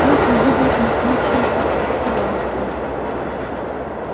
он увидел метнувшуюся в кусты ласку